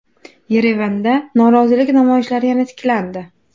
Yerevanda norozilik namoyishlari yana tiklandi.